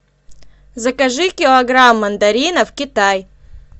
закажи килограмм мандаринов китай